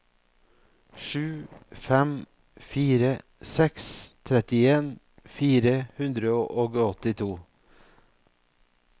sju fem fire seks trettien fire hundre og åttito